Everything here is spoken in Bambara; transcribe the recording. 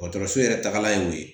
Dɔgɔtɔrɔso yɛrɛ tagala ye o ye